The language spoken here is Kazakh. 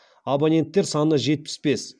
абоненттер саны жетпіс бес